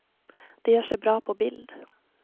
De gör sig bra på bild.